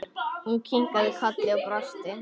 Hún kinkaði kolli og brosti.